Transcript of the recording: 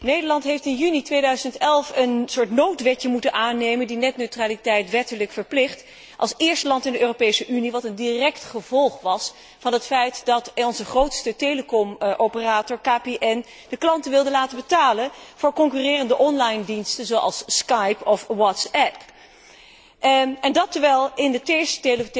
Nederland heeft in juni 2011 een soort noodwetje moeten aannemen, die netneutraliteit wettelijk verplicht, als eerste land in de Europese Unie, wat een direct gevolg was van het feit dat onze grootste telecomoperator KPN de klanten wilde laten betalen voor concurrerende online diensten zoals Skype of WhatsApp, en dat terwijl er in het eerste